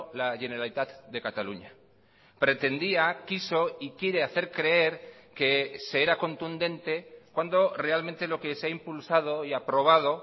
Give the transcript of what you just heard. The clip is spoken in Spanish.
la generalitat de cataluña pretendía quiso y quiere hacer creer que se era contundente cuando realmente lo que se ha impulsado y aprobado